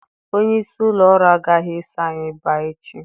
Onye isi ụlọ ọrụ agaghị eso anyị bịa echi.